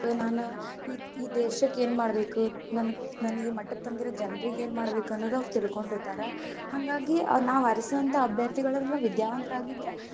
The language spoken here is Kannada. ನಾನ್, ಈ ದೇಶಕ್ಕ ಏನ ಮಾಡ್ಬೇಕ್, ನನ್ ನನ್ ಈ ಮಟ್ಟಕ್ಕ ತಂದಿರೋ ಜನರಿಗೆ ಏನ್ ಮಾಡ್ಬೇಕ ಅನ್ನೋದ್ ಅವ್ರ ತಿಳ್ಕೊಂಡಿರ್ತಾರ, ಹಂಗಾಗಿ ನಾವ ಆರಿಸುವಂತಹ ಅಭ್ಯರ್ಥಿಗಳೆಲ್ಲ ವಿದ್ಯಾವಂತರಾಗಿದ್ರ,